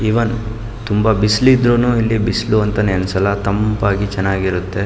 Even ತುಂಬ ಬಿಸಿಲು ಇದ್ರೂ ಕೂಡ ಇಲ್ಲಿ ಬಿಸಿಲು ಅಂತ ಅನ್ಸಲ್ಲ ತಂಪಾಗಿ ತುಂಬ ಚೆನ್ನಾಗಿರುತ್ತೆ.